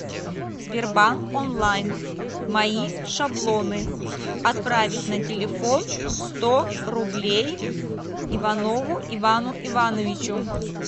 сбербанк онлайн мои шаблоны отправить на телефон сто рублей иванову ивану ивановичу